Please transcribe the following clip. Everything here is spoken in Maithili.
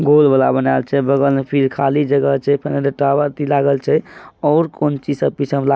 गोल वाला बनायेल छै बगल में फेर खली जगह छै टावर लागल छै और कौन चीज सब पीछे में ला--